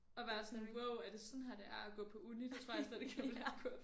At være sådan wow er det sådan her det er at gå på uni det tror jeg slet ikke jeg ville have kunne